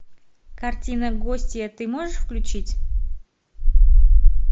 картина гостья ты можешь включить